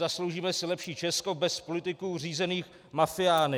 Zasloužíme si lepší Česko bez politiků řízených mafiány.